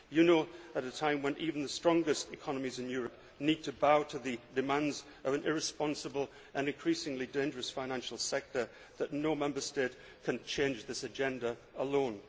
You know, at a time when even the strongest economies in Europe need to bow to the demands of an irresponsible and increasingly dangerous financial sector, that no Member State can change this agenda alone.